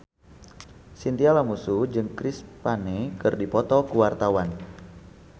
Chintya Lamusu jeung Chris Pane keur dipoto ku wartawan